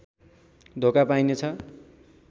धोका पाइनेछ